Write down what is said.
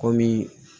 Kɔmi